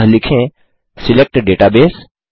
अतः लिखें सिलेक्ट दाता बसे